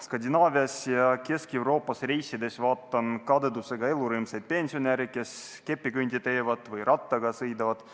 Skandinaavias ja Kesk-Euroopas reisides vaatan kadedusega elurõõmsaid pensionäre, kes kepikõndi teevad või rattaga sõidavad.